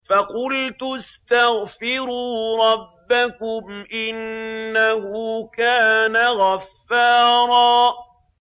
فَقُلْتُ اسْتَغْفِرُوا رَبَّكُمْ إِنَّهُ كَانَ غَفَّارًا